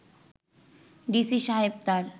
DC সাহেব তার